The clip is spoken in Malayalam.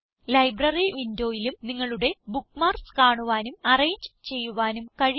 ലൈബ്രറി വിൻഡോയിലും നിങ്ങളുടെ ബുക്ക്മാർക്സ് കാണുവാനും അറേഞ്ച് ചെയ്യുവാനും കഴിയും